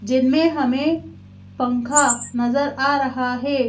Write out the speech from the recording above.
जिनमें हमें पंखा नजर आ रहा है।